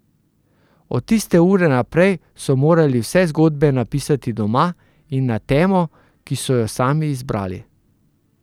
Od tiste ure naprej so morali vse zgodbe napisati doma, in na temo, ki so jo sami izbrali.